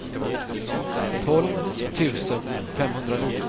tolv tusen femhundranio